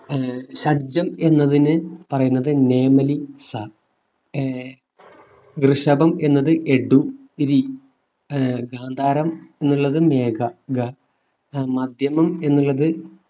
ഷഡ്ജം എന്നതിന് പറയുന്നത് നേമലി സ ഏർ ഋഷഭം എന്നത് എടു രി ആഹ് ഗാന്ധാരം എന്നുള്ളത്മേഘ ഗ മധ്യമം എന്നുള്ളത്